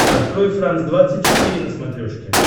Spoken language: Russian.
открой франс двадцать четыре на смотрешке